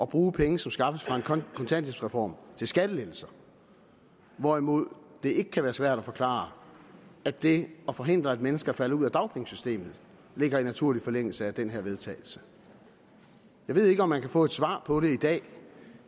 bruge penge som skaffes fra en kontanthjælpsreform til skattelettelser hvorimod det ikke kan være svært at forklare at det at forhindre at mennesker falder ud af dagpengesystemet ligger i naturlig forlængelse af den her vedtagelse jeg ved ikke om man kan få et svar på det i dag